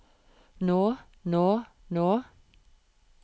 nå nå nå